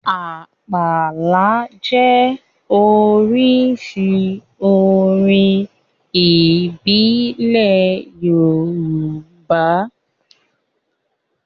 Àpàlà jẹ́ oríṣi orin ìbílẹ̀ Yorùbá